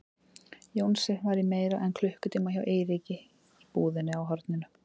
Jónsi var í meira en klukkutíma hjá Eiríki í búðinni á horninu.